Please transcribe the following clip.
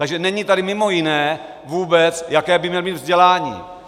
Takže není tady mimo jiné vůbec, jaké by měl mít vzdělání.